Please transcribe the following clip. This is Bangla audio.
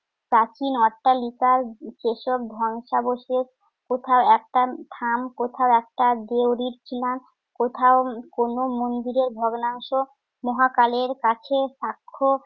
প্রাচীন অট্টালিকার যেসব ধ্বংসাবশেষ কোথাও একটা থাম, কোথাও একটা দেউরির পিলার, কোথাও কোন মন্দিরের ভগ্নাংশ মহাকালের কাছে সাক্ষ্য